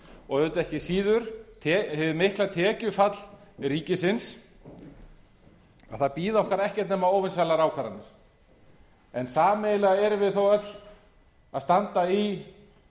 og auðvitað ekki síður hið mikla tekjufall ríkisins að það bíða okkar ekkert nema óvinsælar ákvarðanir en sameiginlega erum við þó öll að standa í